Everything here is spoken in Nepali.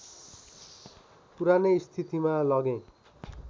पुरानै स्थितिमा लगेँ